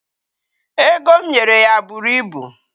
Ego m nyere ya buru ibu.